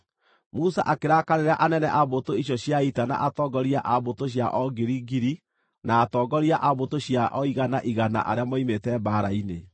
Musa akĩrakarĩra anene a mbũtũ icio cia ita na atongoria a mbũtũ cia o ngiri, ngiri, na atongoria a mbũtũ cia o igana, igana, arĩa moimĩte mbaara-inĩ.